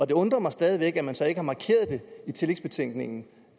det undrer mig stadig væk at man så ikke har markeret det i tillægsbetænkningen